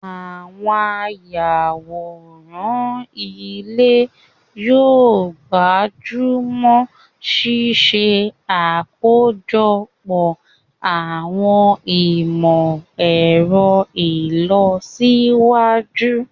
Àwọn ayàwòrán ilé yóò gbájú mọ́ ṣíṣe àkójọpọ̀ àwọn ìmọ̀ ẹ̀rọ ìlọsíwájú